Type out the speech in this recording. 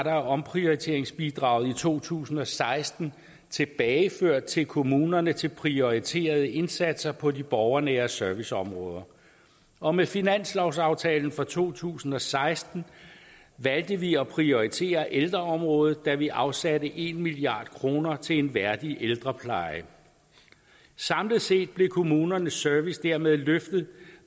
af omprioriteringsbidraget er i to tusind og seksten tilbageført til kommunerne til prioriterede indsatser på de borgernære serviceområder og med finanslovsaftalen for to tusind og seksten valgte vi at prioritere ældreområdet da vi afsatte en milliard kroner til en værdig ældrepleje samlet set blev kommunernes service dermed løftet